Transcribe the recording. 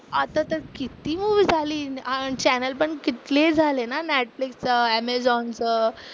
आता तर किती मूवी झाली, किती चॅनेल पण झाले किती ना नेटफ्लिक्स चं अमेझॉन चं.